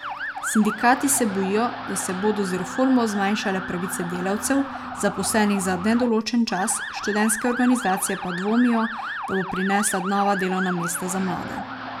Sindikati se bojijo, da se bodo z reformo zmanjšale pravice delavcev, zaposlenih za nedoločen čas, študentske organizacije pa dvomijo, da bo prinesla nova delovna mesta za mlade.